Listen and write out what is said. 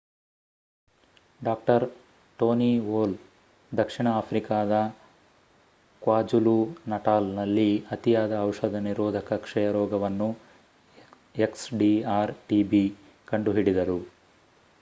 ಡಾ. Tony Moll ದಕ್ಷಿಣ ಆಫ್ರಿಕಾದ kwazulu-natal ನಲ್ಲಿ ಅತಿಯಾದ ಔಷಧ ನಿರೋಧಕ ಕ್ಷಯರೋಗವನ್ನು xdr-tb ಕಂಡುಹಿಡಿದರು